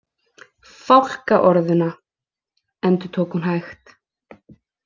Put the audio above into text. Fálka orðuna, endurtók hún hægt.